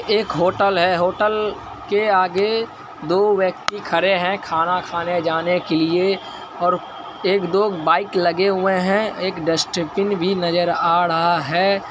एक होटल है होटल के आगे दो व्यक्ति खड़े हैं खाना खाने जाने के लिए और एक दो बाइक लगे हुए हैं एक डस्टबिन भी नजर आ रहा है।